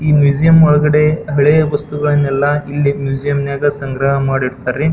ಈ ಮ್ಯೂಸಿಯಂ ಒಳಗಡೆ ಹಳೆಯ ವಸ್ತುಗಳನ್ನೆಲ್ಲಾ ಇಲ್ಲಿ ಮ್ಯೂಸಿಯಂ ನಾಗ್ ಸಂಗ್ರಹ ಮಾಡ್ ಇಡತ್ತರಿ.